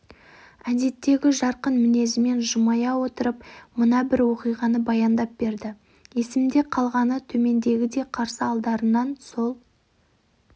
әдеттегі жарқын мінезімен жымия отырып мына бір оқиғаны баяндап берді есімде қалғаны төмендегідей қарсы алдарынан сол